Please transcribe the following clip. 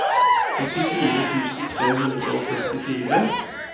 åttifire tusen tre hundre og førtifire